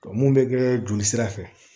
mun bɛ kɛ jolisira fɛ